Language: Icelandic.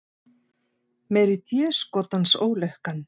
Meiri déskotans ólukkan.